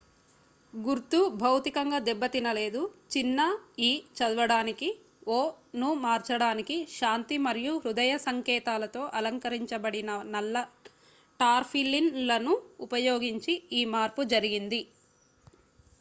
"గుర్తు భౌతికంగా దెబ్బతినలేదు; చిన్న "ఇ" చదవడానికి "ఓ" ను మార్చడానికి శాంతి మరియు హృదయ సంకేతాలతో అలంకరించబడిన నల్ల టార్పాలిన్‌లను ఉపయోగించి ఈ మార్పు జరిగింది.